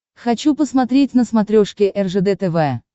хочу посмотреть на смотрешке ржд тв